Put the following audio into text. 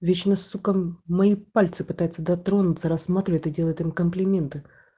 вечно сука мои пальцы пытается дотронуться рассматривает и делает им комплименты